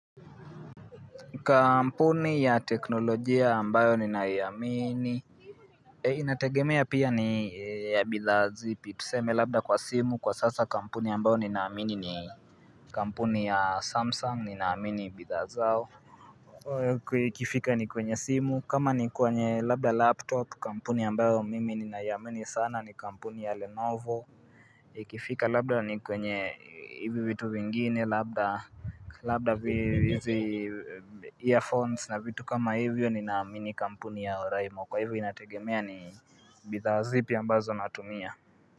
Kampuni ya teknolojia ambayo ninaiamini Inategemea pia ni ya bidhaa zipi tuseme labda kwa simu kwa sasa kampuni ambayo ninaamini ni kampuni ya samsung ninaamini bidhaa zao Ikifika ni kwenye simu kama ni kwenye labda laptop kampuni ambayo mimi ninaamini sana ni kampuni ya lenovo Ikifika labda ni kwenye hivyo vitu vingine labda Labda hizi earphones na vitu kama hivyo ninaamini kampuni ya Oraimo. Kwa hivyo inategemea ni bidhaa zipi ambazo natumia.